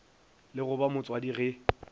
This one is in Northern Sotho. le go ba motswadi ge